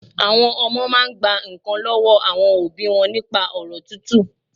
Àwọn Ọmọ máa n gba nkàn lọ́wọ́ àwọn òbí nípa ọ̀rọ̀ tútù